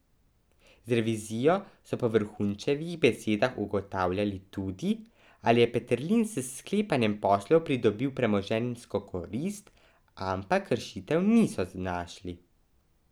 Z revizijo so po Vrhunčevih besedah ugotavljali tudi, ali je Peterlin s sklepanjem poslov pridobil premoženjsko korist, ampak kršitev niso našli.